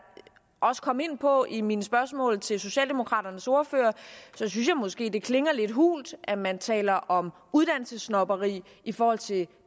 også kom ind på i mine spørgsmål til socialdemokraternes ordfører synes jeg måske at det klinger lidt hult at man taler om uddannelsessnobberi i forhold til